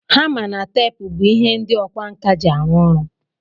Hama na tape bu ihe ndi ọkwa nka ji arụ ọrụ.